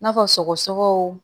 N'a fɔ sɔgɔsɔgɔw